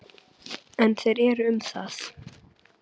En þeir um það.